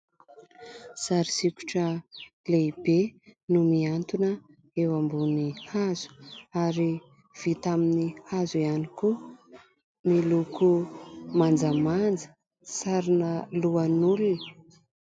Sary sikotra lehibe no miantona eo ambony hazo, ary vita amin'ny hazo ihany koa. Miloko manjamanja, sarina lohan'olona.